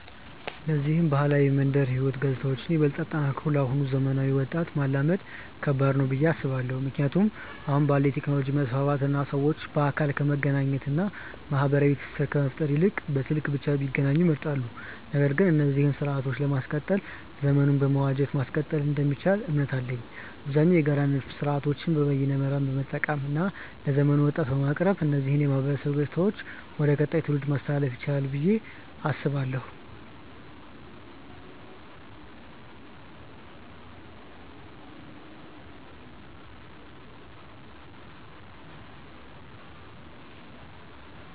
እነዚህን ባህላዊ የመንደር ህይወት ገጽታዎችን ይበልጥ አጠናክሮ ለአሁኑ ዘመናዊ ወጣት ማላመድ ከባድ ነው ብዬ አስባለው። ምክንያቱም አሁን ባለው የቴክኖሎጂ መስፋፋት እና ሰዎች በአካል ከመገናኘት እና ማህበራዊ ትስስር ከመፍጠር ይልቅ በስልክ ብቻ ቢገናኙ ይመርጣሉ። ነገር ግን እነዚህን ስርአቶችን ለማስቀጠል ዘመኑን በመዋጀት ማስቀጠል እንደሚቻል እምነት አለኝ። አብዛኛውን የጋራ ድጋፍ ስርአቶችን በይነመረብን በመጠቀም እና ለዘመኑ ወጣት በማቅረብ እነዚህን የማህበረሰብ ገጽታዎች ወደ ቀጣዩ ትውልድ ማስተላለፍ ይቻላል ብዬ አስባለው።